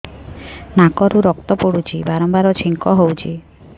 ନାକରୁ ରକ୍ତ ପଡୁଛି ବାରମ୍ବାର ଛିଙ୍କ ହଉଚି